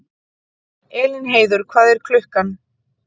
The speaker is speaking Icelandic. Elínheiður, hvað er klukkan?